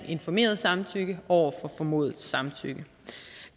informeret samtykke over for formodet samtykke